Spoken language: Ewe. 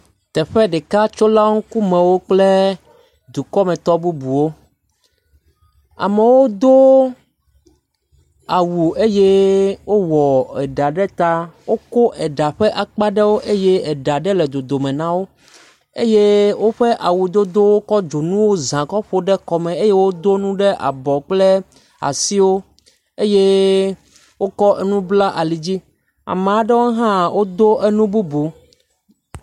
Teƒe ɖeka tso la wo ŋku me kple dukɔ me. Amewo do awu eye wowɔ eɖa ɖe ta. Woko eɖa ƒe akpa aɖewo eye awu ɖe le dodome na wò eye wo kɔ awu dodo kɔ dzonu ƒe ɖe kɔ me eye wodo nu ɖe abɔ kple asiwo eye wo kɔ nu bla ali dzi. Ame aɖewo hã do nu bubu.